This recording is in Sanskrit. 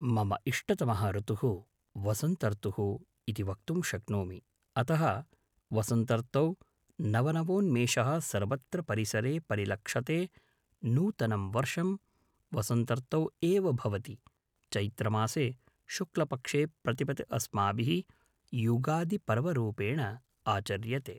मम इष्टतमः ऋतुः वसन्तर्तुः इति वक्तुं शक्नोमि अतः वसन्तर्तौ नवनवोन्मेषः सर्वत्र परिसरे परिलक्षते नूतनं वर्षं वसन्तर्तौ एव भवति चैत्रमासे शुक्लपक्षे प्रतिपत् अस्माभिः युगादिपर्वरूपेण आचर्यते